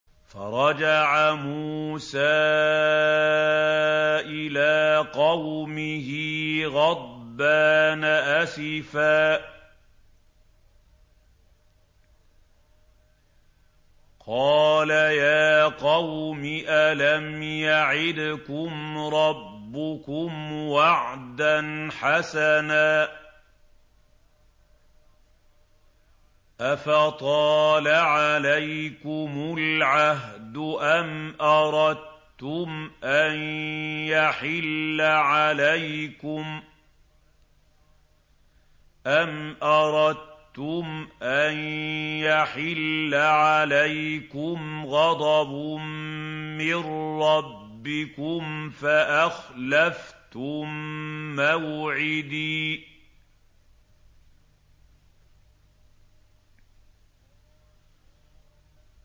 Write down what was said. فَرَجَعَ مُوسَىٰ إِلَىٰ قَوْمِهِ غَضْبَانَ أَسِفًا ۚ قَالَ يَا قَوْمِ أَلَمْ يَعِدْكُمْ رَبُّكُمْ وَعْدًا حَسَنًا ۚ أَفَطَالَ عَلَيْكُمُ الْعَهْدُ أَمْ أَرَدتُّمْ أَن يَحِلَّ عَلَيْكُمْ غَضَبٌ مِّن رَّبِّكُمْ فَأَخْلَفْتُم مَّوْعِدِي